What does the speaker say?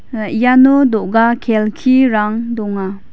ah iano do·ga kelkirang donga.